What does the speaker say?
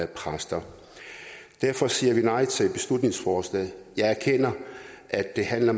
præster derfor siger vi nej til beslutningsforslaget jeg erkender at det handler